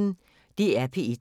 DR P1